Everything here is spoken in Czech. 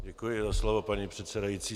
Děkuji za slovo, paní předsedající.